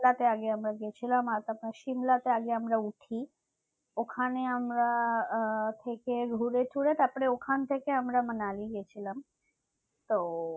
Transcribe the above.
সিমলাতে আমরা আগে গেছিলাম আর তারপরে সিমলাতে আগে আমরা উঠি ওখানে আমরা আহ থেকে ঘুরে তুরে তারপরে ওখান থেকে আমরা মানালি গেছিলাম তো